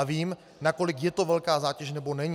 A vím, nakolik je to velká zátěž, nebo není.